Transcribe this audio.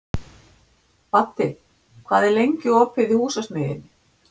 Baddi, hvað er lengi opið í Húsasmiðjunni?